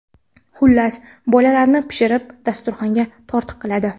Xullas, bolalarini pishirib, dasturxonga tortiq qiladi.